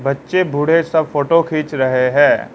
बच्चे बूढ़े सब फोटो खींच रहे हैं।